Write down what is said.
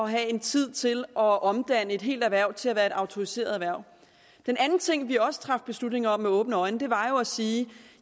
have tid til at omdanne et helt erhverv til at være et autoriseret erhverv den anden ting vi også traf beslutning om med åbne øjne var jo at sige